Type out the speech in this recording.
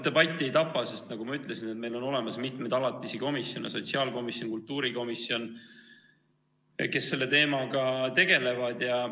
Debatti ei tapa, sest nagu ma ütlesin, meil on olemas mitmeid alatisi komisjone – sotsiaalkomisjon, kultuurikomisjon –, kes selle teemaga tegelevad.